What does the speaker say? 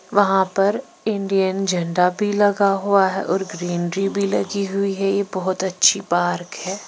वहां पर इंडियन झंडा भी लगा हुआ हैऔर ग्रीनरी भी लगी हुई है यह बहुत अच्छी पार्क है।